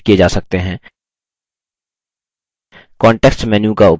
context menu का उपयोग करके font का आकार format करें